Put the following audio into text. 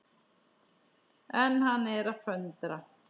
En hann er að föndra.